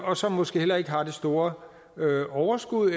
og som måske heller ikke har det store overskud